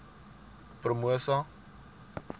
promosa